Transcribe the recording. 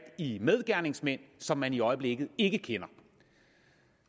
i medgerningsmænd som man i øjeblikket ikke kender